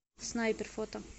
снайпер фото